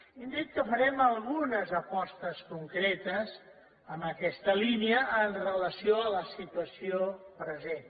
hem dit que farem algunes apostes concretes en aquesta línia amb relació a la situació present